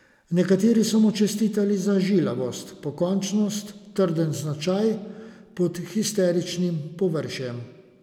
Nekateri so mu čestitali za žilavost, pokončnost, trden značaj pod histeričnim površjem.